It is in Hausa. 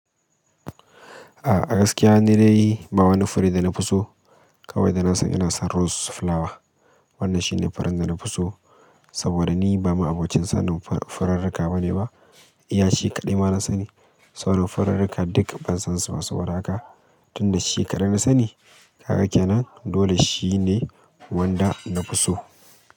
A gaskiya ni dai ba wani fure da na fi so. Kawai da na san ina son rose flower. Wannan shine furen da na fi so saboda ni ba ma'abocin sanin furarrika ba ne ba. Iya shi kaɗai ma na sani. Furarrika duk ban san su ba saboda haka. Tunda shi kaɗai na sani. Ka ga kenan dole shi ne. Wanda na fi so.